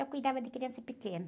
Então, eu cuidava de criança pequena.